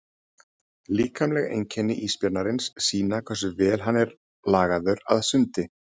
Líkamleg einkenni ísbjarnarins sýna hversu vel hann er lagaður að sundi.